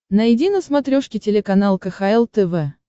найди на смотрешке телеканал кхл тв